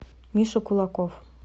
миша кулаков